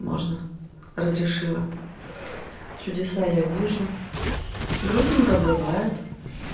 можно разрешила чудеса я вижу грустненько бывает